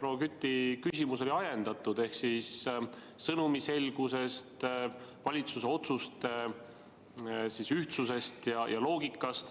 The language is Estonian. proua Küti küsimus oli ajendatud ehk sõnumi selgus, valitsuse otsuste ühtsus ja loogika.